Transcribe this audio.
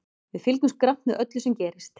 Við fylgjumst grannt með öllu sem gerist.